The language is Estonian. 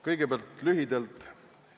Kõigepealt lühidalt.